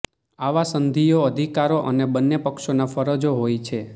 આવા સંધિઓ અધિકારો અને બન્ને પક્ષોના ફરજો હોય છે